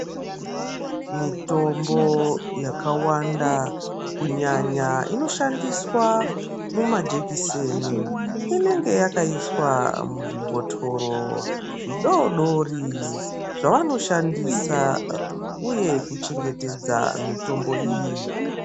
Mitombo yakawanda kunyanya inoshandiswa mumajekiseni inenge yakaiswa muzvibhotoro zvidoodori zvavanoshandisa uye kuchengetedza mitombo iyi.